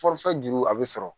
Fɔlifɛn juru a bɛ sɔrɔ